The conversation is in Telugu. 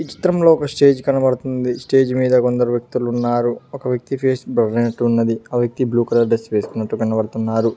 ఈ చిత్రంలో ఒక స్టేజ్ కనబడుతుంది స్టేజ్ మీద కొందరు వ్యక్తులు ఉన్నారు ఒక వ్యక్తి ఫేస్ బర్ అయినట్టు ఉన్నది ఆ వ్యక్తి బ్లూ కలర్ డ్రెస్ వేసుకున్నట్టు కనబడుతున్నారు.